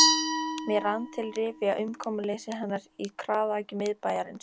Mér rann til rifja umkomuleysi hennar í kraðaki miðbæjarins.